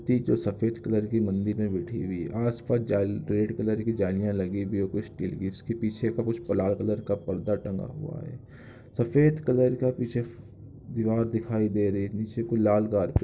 मूर्ति जो सफ़ेद कलर की मंदिर में बैठी हुई है आस पास जाल रेड कलर की जालियां लगी हुई है कुछ स्टील की उसके पीछे कुछ लाल कलर का पर्दा टंगा हुआ है सफ़ेद कलर का पीछे फ दिवार दिखाई दे रही है नीचे कोई लाल गा--